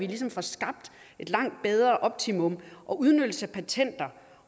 ligesom får skabt et langt bedre optimum udnyttelse af patenter